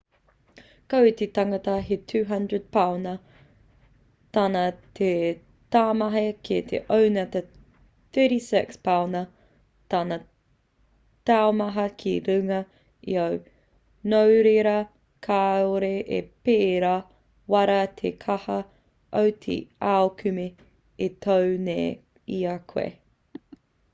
ko te tangata he 200 pauna 90kg tana te taumaha ki te ao nei ka 36 pauna 16kg tana taumaha ki runga i io. nō reira kāore e pērā rawa te kaha o te aukume e tō nei i a koe